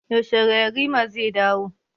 Yaushe yarima zai dawo?